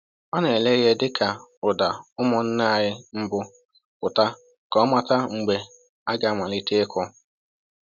Ọ na-ele ihe dịka ụda ụmụnnaanyị mbụ pụta ka o mata mgbe a ga-amalite ịkụ.